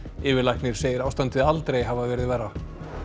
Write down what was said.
yfirlæknir segir ástandið aldrei hafa verið verra